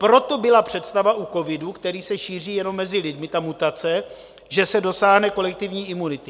Proto byla představa u covidu, který se šíří jenom mezi lidmi, ta mutace, že se dosáhne kolektivní imunity.